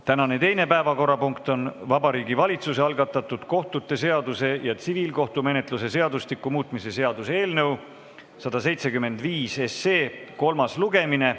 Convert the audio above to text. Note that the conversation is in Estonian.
Tänane teine päevakorrapunkt on Vabariigi Valitsuse algatatud kohtute seaduse ja tsiviilkohtumenetluse seadustiku muutmise seaduse eelnõu 175 kolmas lugemine.